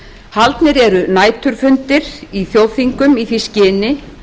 haldnir eru næturfundir í þjóðþingum í því skyni